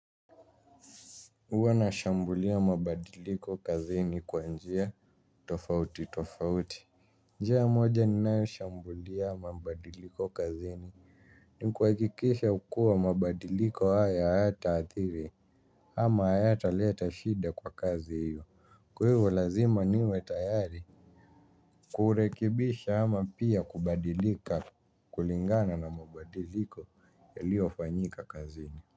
Huwa na shambulia mabadiliko kazini kwa njia tofauti tofauti. Njia moja ni ninayoshambulia mabadiliko kazini ni kuhakikisha kuwa mabadiliko haya hayataathiri. Ama haya ata leta shida kwa kazi hiyo. Kwa hivo lazima niwe tayari kuurekebisha ama pia kubadilika kulingana na mabadiliko yaliyofanyika kazini.